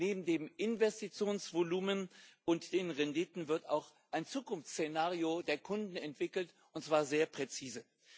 Neben dem Investitionsvolumen und den Renditen wird auch ein Zukunftsszenario der Kunden entwickelt, und zwar sehr präzise.